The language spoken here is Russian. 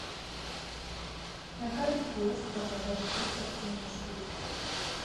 на карте киоск по продаже фруктов и овощей